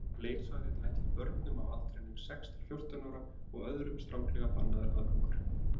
Var leiksvæðið ætlað börnum á aldrinum sex til fjórtán ára og öðrum stranglega bannaður aðgangur.